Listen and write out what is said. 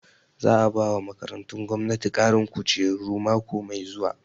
Za a bawa makarantu gwamnati ƙarin kujeru mako mai zuwa